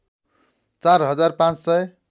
४ हजार ५ सय